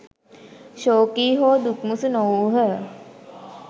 ශෝකී හෝ දුක්මුසු නොවූහ.